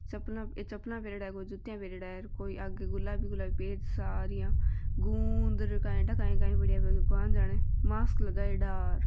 चपला अ चपला पहरयोडा कोई जुतिया पहरयोडा अ कोई आगे गुलाबी गुलाबी पेज सा र यान गूंद काई ठा कई कई पडिया है भगवान जाने मास्क लगायोडा र।